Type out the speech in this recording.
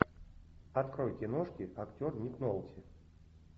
открой киношки актер ник нолти